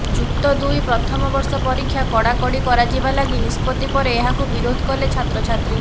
ଯୁକ୍ତ ଦୁଇ ପ୍ରଥମ ବର୍ଷ ପରୀକ୍ଷା କଡାକଡି କରାଯିବା ଲାଗି ନିଷ୍ପତି ପରେ ଏହାକୁୁ ବିରୋଧ କଲେ ଛାତ୍ରଛାତ୍ରୀ